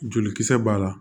Jolikisɛ b'a la